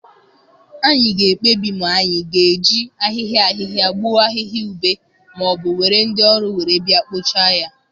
Anyị ga-ekpebi ma anyị ga-eji ahịhịa ahịhịa gbuo ahịhịa ube ma ọ bụ were ndị ọrụ were bịa kpochaa ya.